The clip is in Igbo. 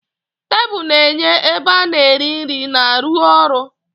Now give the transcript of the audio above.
Tebụl na-enye ebe ana eri nri na ruo ọrụ.